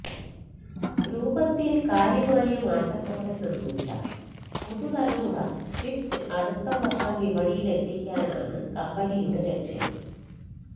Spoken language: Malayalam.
രൂപത്തില് കാര്യമായ മാറ്റത്തോടെ നിര്മിച്ച പുതുതലമുറ സ്വിഫ്റ്റ് അടുത്ത വര്ഷം വിപണിയിലെത്തിക്കാനാണ് കമ്പനിയുടെ ലക്ഷ്യം